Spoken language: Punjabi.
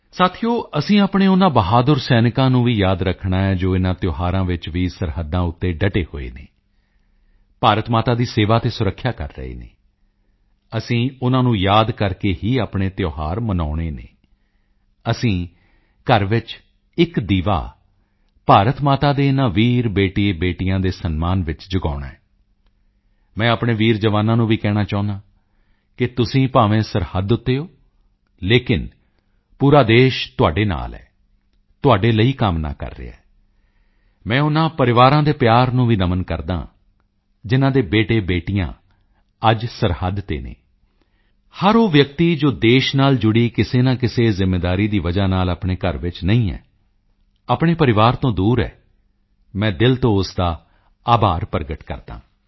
ਸਾਥੀਓ ਅਸੀਂ ਆਪਣੇ ਉਨ੍ਹਾਂ ਬਹਾਦਰ ਸੈਨਿਕਾਂ ਨੂੰ ਵੀ ਯਾਦ ਰੱਖਣਾ ਹੈ ਜੋ ਇਨ੍ਹਾਂ ਤਿਓਹਾਰਾਂ ਵਿੱਚ ਵੀ ਸਰਹੱਦਾਂ ਉੱਤੇ ਡਟੇ ਹੋਏ ਹਨ ਭਾਰਤ ਮਾਤਾ ਦੀ ਸੇਵਾ ਅਤੇ ਸੁਰੱਖਿਆ ਕਰ ਰਹੇ ਹਨ ਅਸੀਂ ਉਨ੍ਹਾਂ ਨੂੰ ਯਾਦ ਕਰਕੇ ਹੀ ਆਪਣੇ ਤਿਓਹਾਰ ਮਨਾਉਣੇ ਹਨ ਅਸੀਂ ਘਰ ਵਿੱਚ ਇੱਕ ਦੀਵਾ ਭਾਰਤ ਮਾਤਾ ਦੇ ਇਨ੍ਹਾਂ ਵੀਰ ਬੇਟੇਬੇਟੀਆਂ ਦੇ ਸਨਮਾਨ ਵਿੱਚ ਵੀ ਜਗਾਉਣਾ ਹੈ ਮੈਂ ਆਪਣੇ ਵੀਰ ਜਵਾਨਾਂ ਨੂੰ ਵੀ ਕਹਿਣਾ ਚਾਹੁੰਦਾ ਹਾਂ ਕਿ ਤੁਸੀਂ ਭਾਵੇਂ ਸਰਹੱਦ ਉੱਤੇ ਹੋ ਲੇਕਿਨ ਪੂਰਾ ਦੇਸ਼ ਤੁਹਾਡੇ ਨਾਲ ਹੈ ਤੁਹਾਡੇ ਲਈ ਕਾਮਨਾ ਕਰ ਰਿਹਾ ਹੈ ਮੈਂ ਉਨ੍ਹਾਂ ਪਰਿਵਾਰਾਂ ਦੇ ਪਿਆਰ ਨੂੰ ਵੀ ਨਮਨ ਕਰਦਾ ਹਾਂ ਜਿਨ੍ਹਾਂ ਦੇ ਬੇਟੇਬੇਟੀਆਂ ਅੱਜ ਸਰਹੱਦ ਤੇ ਹਨ ਹਰ ਉਹ ਵਿਅਕਤੀ ਜੋ ਦੇਸ਼ ਨਾਲ ਜੁੜੀ ਕਿਸੇ ਨਾ ਕਿਸੇ ਜ਼ਿੰਮੇਵਾਰੀ ਦੀ ਵਜ੍ਹਾ ਨਾਲ ਆਪਣੇ ਘਰ ਵਿੱਚ ਨਹੀਂ ਹੈ ਆਪਣੇ ਪਰਿਵਾਰ ਤੋਂ ਦੂਰ ਹੈ ਮੈਂ ਦਿਲ ਤੋਂ ਉਸ ਦਾ ਆਭਾਰ ਪ੍ਰਗਟ ਕਰਦਾ ਹਾਂ